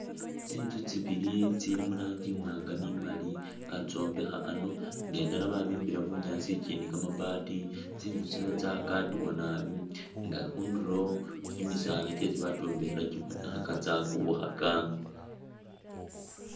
Tsinzu tsibili i'tsili mu rangi imwaanga ni maali batsombekha a'ano nga indala babimbila bunyaasi ikindi kamabaati, tsinzu tsino tsakadewa naabi nga khundulo kimisaala kyesi bakyombekhela kibonekhaka tsakubukhaka